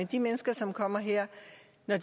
de mennesker som kommer her